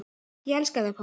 Ég elska þig pabbi.